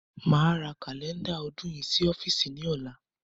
Máa ra Kálẹ́ndà ọdún yìí sí ọ́fíìsì ni ọ̀la.